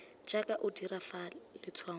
jaaka o dira fa letshwaong